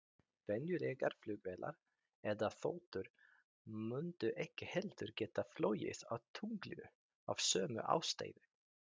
Venjulegar flugvélar eða þotur mundu ekki heldur geta flogið á tunglinu, af sömu ástæðu.